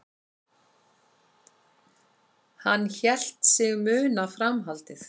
Hann hélt sig muna framhaldið.